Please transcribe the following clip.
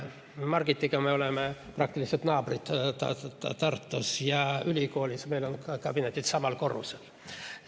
Margitiga me oleme Tartus praktiliselt naabrid ja ka ülikoolis on meie kabinetid samal korrusel.